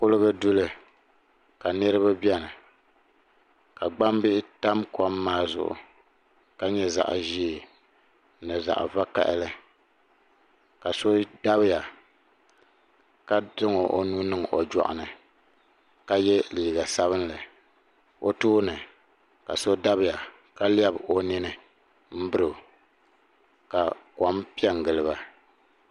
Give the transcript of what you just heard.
Kuliga duli ka niriba biɛni ka gbambihi yam kom maa zuɣu ka nyɛ zaɣa ʒee ni zaɣa vakahali ka so dabya ka zaŋ o nuu niŋ o jɔɣuni ka ye liiga sabinli o tooni ka so dabya ka lebi o nini m biri o ka kom piɛ n giliba.